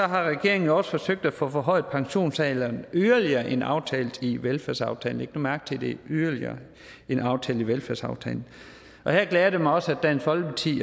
har regeringen jo også forsøgt at få forhøjet pensionsalderen yderligere end aftalt i velfærdsaftalen læg nu mærke til at det er yderligere end aftalt i velfærdsaftalen her glæder det mig også at dansk folkeparti